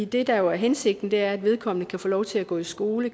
det der jo er hensigten er at vedkommende kan få lov til at gå i skole